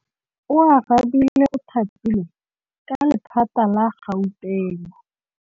Oarabile o thapilwe ke lephata la Gauteng.